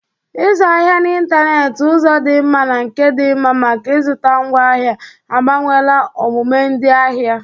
Ịzụ ahịa n'ịntanetị, ụzọ dị mma na nke dị mma maka ịzụta ngwaahịa, agbanweela omume ndị ahịa.